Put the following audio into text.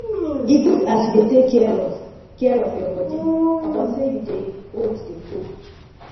e good as you dey take care of care of your body upon sey you dey old dey go